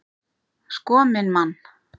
Sko minn mann!